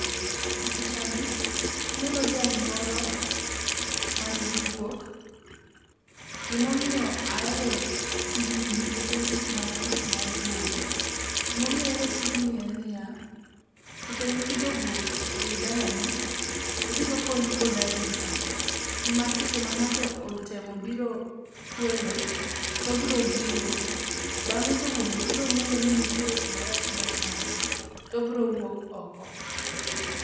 E pichani aneno jal moro mangi guok. Gimomiyo ahero tijni nikech en tich mar pith mar guogi. Gimomiyo ahero tijni en niya, secdhe mipidho guok e i dalani, obiro konyi kod arita, nimar seche ma ng'ato otemo biro kwelo, to obro giyo bang'e to wuongo brong'eyo ni nitiere gimarach matimore, to obro wuok oko.